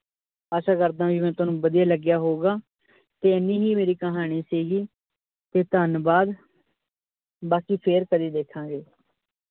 ਆਸਾਂ ਕਰਦਾ ਹਾਂ ਵੀ ਮੈ ਤੁਹਾਨੂੰ ਵਧੀਆ ਲੱਗਿਆ ਹੋਉ ਗਾ ਤੇ ਏਨੀ ਹੀ ਮੇਰੀ ਕਹਾਣੀ ਸੀ ਗੀ ਤੇ ਧੰਨਵਾਦ ਬਾਕੀ ਫੇਰ ਕਦੀ ਦੇਖਾ ਗੇ ।